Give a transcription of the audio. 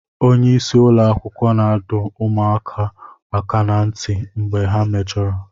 Onye isi ụlọ akwụkwọ na-adọ ụmụ akwụkwọ aka ná ntị mgbe ha mejọrọ